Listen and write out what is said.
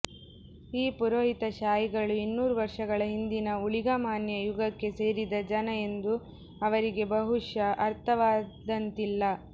ಈ ಪುರೋಹಿತಶಾಹಿಗಳು ಇನ್ನೂರು ವರ್ಷಗಳ ಹಿಂದಿನ ಊಳಿಗಮಾನ್ಯ ಯುಗಕ್ಕೆ ಸೇರಿದ ಜನ ಎಂದು ಅವರಿಗೆ ಬಹುಶಃ ಅರ್ಥವಾದಂತಿಲ್ಲ